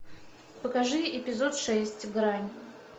покажи эпизод шесть грань